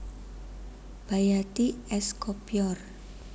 Bayati es Kopyor